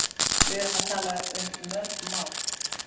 Við erum að tala um mörg mál.